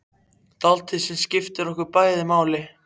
Dáldið sem skiptir okkur bæði máli.